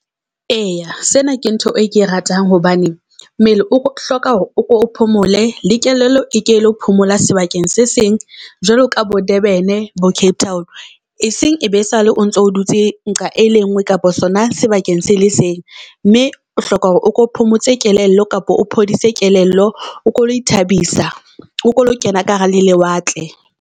Eya sena ke ntho e ke e ratang. Hobane mmele o hloka hore o ke o phomole le kelello e kelo phomola sebakeng se seng jwalo ka bo Durban bo Cape Town. Eseng e be sale, o ntso dutse nqa e le nngwe kapa sona sebakeng se le seng. Mme o hloka hore o ko phomotse kelello kapa o phodise kelello, o ko o lo ithabisa. O ko o lo kena ka hara le lewatle.